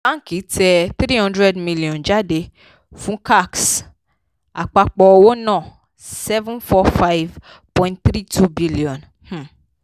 báńkì tẹ three hundred million jáde fún cacs; àpapọ̀ owó ná seven four five point three two billion um